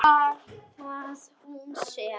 Var það hún sem.?